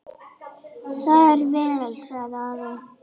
Það er vel, sagði Ari.